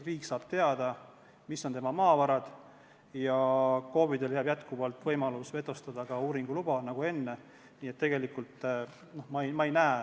Riik saab teada, mis on tema maavarad, ja KOV-idele jääb jätkuvalt võimalus ka uuringuluba vetostada, nagu enne.